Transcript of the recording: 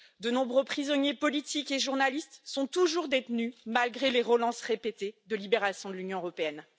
De nombreux prisonniers politiques et journalistes sont toujours détenus, malgré les demandes répétées de libération de l'Union européenne.